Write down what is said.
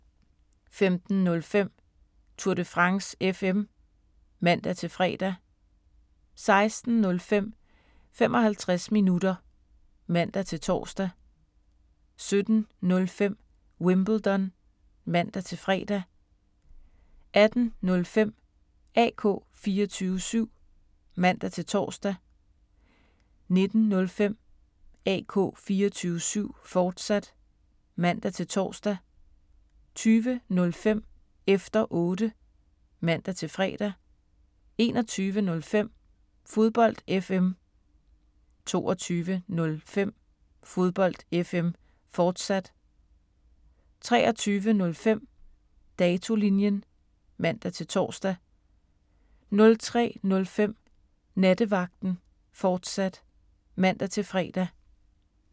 15:05: Tour de France FM (man-fre) 16:05: 55 minutter (man-tor) 17:05: Wimbledon (man-fre) 18:05: AK 24syv (man-tor) 19:05: AK 24syv, fortsat (man-tor) 20:05: Efter Otte (man-fre) 21:05: Fodbold FM 22:05: Fodbold FM, fortsat 23:05: Datolinjen (man-tor) 03:05: Nattevagten, fortsat (man-fre)